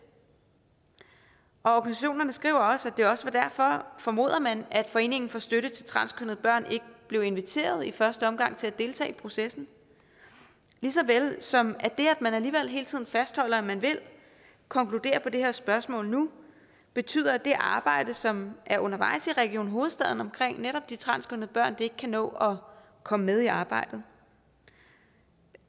organisationerne skriver også at det også var derfor formoder man at foreningen for støtte til transkønnede børn ikke blev inviteret i første omgang til at deltage i processen lige så vel som at det at man alligevel hele tiden fastholder at man vil konkludere i det her spørgsmål nu betyder at det arbejde som er undervejs i region hovedstaden omkring netop de transkønnede børn ikke kan nå at komme med i arbejdet